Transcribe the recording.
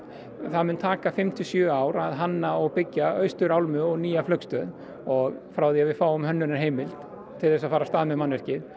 það mun taka fimm til sjö ár að hanna og byggja austurálmu og nýja flugstöð frá því að við fáum til að fara af stað með mannvirkið